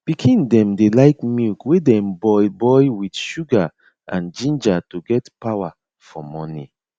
pikin dem dey like milk wey dem boil boil with sugar and ginger to get power for morning